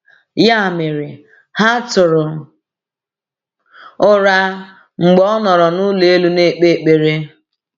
Ya mere, ha tụrụ ụra mgbe ọ nọrọ n’ụlọ elu na-ekpe ekpere.